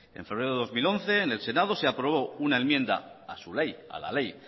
en febrero de dos mil once en el senado se aprobó una enmienda a su ley a la ley